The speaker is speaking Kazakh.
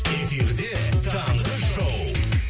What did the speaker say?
эфирде таңғы шоу